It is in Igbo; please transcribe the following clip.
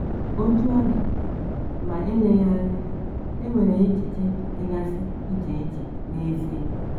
Otú ọ dị, ma eleghị anya, e nwere echiche dịgasị iche iche n’ezie.